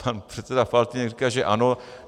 Pan předseda Faltýnek říká, že ano .